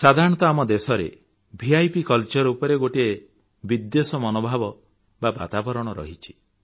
ସାଧାରଣତଃ ଆମ ଦେଶରେ ଭିପ୍ କଲଚର ଉପରେ ବିଦ୍ୱେଷ ମନୋଭାବ ବା ବାତାବରଣ ରହିଛି